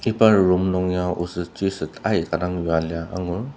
Iba room nung ya osettsüset aika dang yua lia angur.